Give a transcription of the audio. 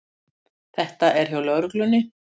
Þetta er hjá lögreglunni